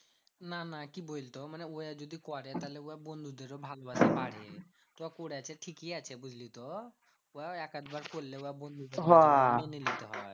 না না কি বলতো মানে ওরা যদি করে তাহলে উহার বন্ধুদেরও ভালোবাসা বাড়ে। তো করেছে ঠিকই আছে বুঝলি তো? ও এক আধ বার করলে ওরা বন্ধুরদের